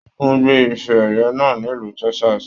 Wọn gbé ifè ẹyẹ náà nílu Texas.